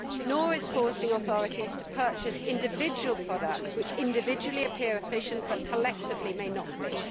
nor is forcing authorities to purchase individual products, which individually appear efficient but collectively may not be.